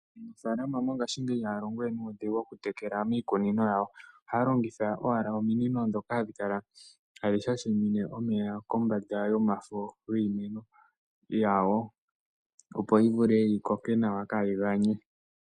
Aanafalama mongashingeyi ihaya longo we nuudhigu moku tekela miikunino yawo. Ohaya longitha owala ominino dhoka hadhi kala tadhi shashimine kombanda yomafo giimeno yawo, opo yi vule yi koke nawa, kaa yi ganye.